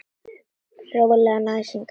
Rólegan æsing, elskan.